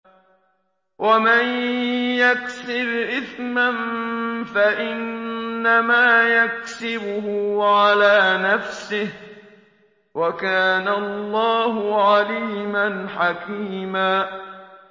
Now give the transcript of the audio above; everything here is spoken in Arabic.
وَمَن يَكْسِبْ إِثْمًا فَإِنَّمَا يَكْسِبُهُ عَلَىٰ نَفْسِهِ ۚ وَكَانَ اللَّهُ عَلِيمًا حَكِيمًا